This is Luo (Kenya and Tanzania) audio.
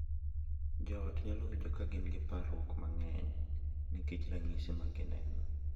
Jo ot nyalo winjo ka gin gi parruok mang’eny nikech ranyisi ma gineno,